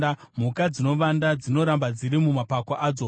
Mhuka dzinovanda; dzinoramba dziri mumapako adzo.